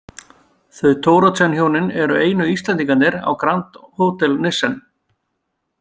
Þau Thoroddsenhjónin eru einu Íslendingarnir á Grand Hotel Nissen.